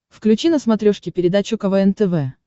включи на смотрешке передачу квн тв